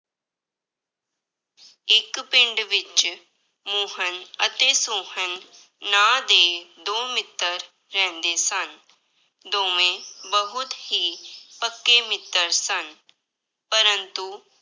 ਇੱਕ ਪਿੰਡ ਵਿੱਚ ਮੋਹਨ ਅਤੇ ਸੋਹਨ ਨਾਂਂ ਦੇ ਦੋ ਮਿੱਤਰ ਰਹਿੰਦੇ ਸਨ, ਦੋਵੇਂ ਬਹੁਤ ਹੀ ਪੱਕੇ ਮਿੱਤਰ ਸਨ ਪਰੰਤੂ